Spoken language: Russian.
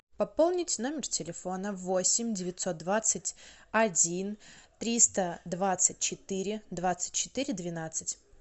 пополнить номер телефона восемь девятьсот двадцать один триста двадцать четыре двадцать четыре двенадцать